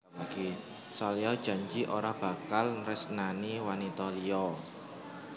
Salya janji ora bakal nresnani wanita liya